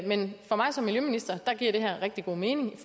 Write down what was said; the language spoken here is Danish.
men for mig som miljøminister giver det her rigtig god mening